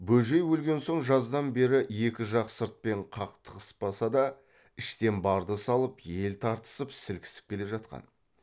бөжей өлген соң жаздан бері екі жақ сыртпен қақтығыспаса да іштен барды салып ел тартысып сілкісіп келе жатқан